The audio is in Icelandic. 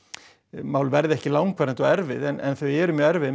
mál verði ekki langvarandi og erfið en þau eru mjög erfið